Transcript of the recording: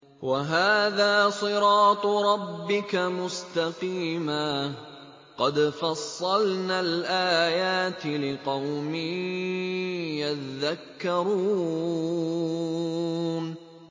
وَهَٰذَا صِرَاطُ رَبِّكَ مُسْتَقِيمًا ۗ قَدْ فَصَّلْنَا الْآيَاتِ لِقَوْمٍ يَذَّكَّرُونَ